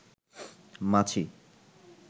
মাছি